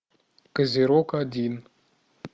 козерог один